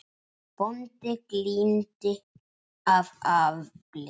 Bóndi glímdi af afli.